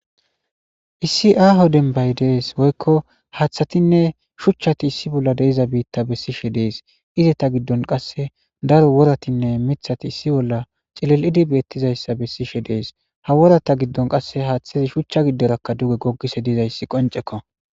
Issi aaho dembay dees woykko haaththatinne shuchchati issi bolla deiza biitta bessishe dees ize ta giddon qasse daro woratinne mithati issi bolla cilel'idi beettizayssa bessishe dees ha worata giddon qasse haaththezi shuchcha giddoraka duge goggise dizayssi qoncekko.